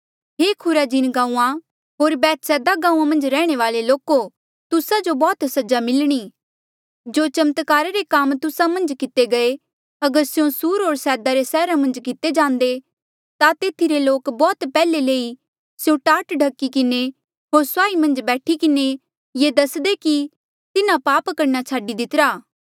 हे Chorazin गांऊँआं होर Bethsaida गांऊँआं मन्झ रैहणे वाल्ऐ लोको तुस्सा जो बौह्त सजा मिलणी जो चमत्कारा रे काम तुस्सा मन्झ किते गये अगर स्यों सुर होर सैदा रे सैहरा रे मन्झ किते जांदे ता तेथी रे लोक बौह्त पैहले ही स्यों टाट ढखी किन्हें होर सुआही मन्झ बैठी किन्हें ये दसदे कि तिन्हें पाप करना छाडी दितिरा